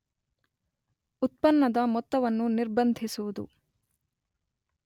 ಉತ್ಪನ್ನದ ಮೊತ್ತವನ್ನು ನಿರ್ಬಂಧಿಸುವುದು